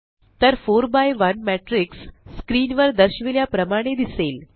तर 4 by one matrix screen वर दर्शविल्या प्रमाणे दिसेल